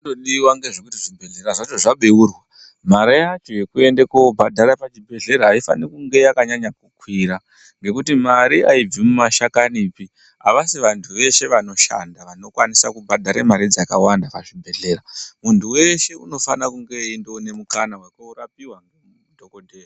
Xhinongodiwa ndechekuti Zvibhedhlera zvacho zvabeurwa mare yacho yekuendeswa pachibhedhlera aisati yakanyanya kukwira nekuti mare aibvi mumashakanipi avasi vanhu veshe vanoshanda vanokwanisa kubhadhara mare dzakawanda pazvibhedhlera muntu weshe unofana kunge eiona mukana wekundorapiwa ndidhokodheya.